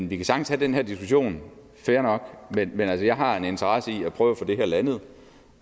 vi kan sagtens have den her diskussion fair nok men jeg har altså en interesse i at prøve at få det her landet